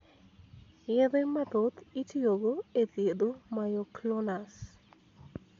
Yedhe mathoth itiyo go e thiedho myoclonus .